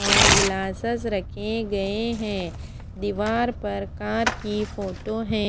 और गिलासेस रखे गए है दीवार पर कार कि फोटो है।